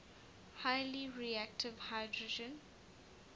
highly reactive hydrogen